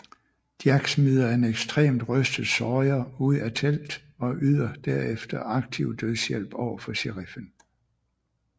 Jack smider en ekstremt rystet Sawyer ud af telt og yder derefter aktiv dødshjælp over for sheriffen